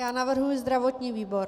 Já navrhuji zdravotní výbor.